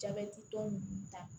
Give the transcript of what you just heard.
Jabɛti tɔn nunnu ta